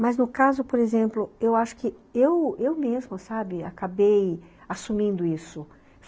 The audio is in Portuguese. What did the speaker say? Mas no caso, por exemplo, eu acho que eu, eu mesmo sabe, acabei assumindo isso.